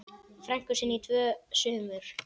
frænku sinni í tvö sumur.